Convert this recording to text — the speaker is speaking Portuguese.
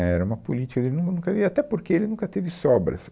Né, era uma política ele, ele nun, e até porque ele nunca teve sobras.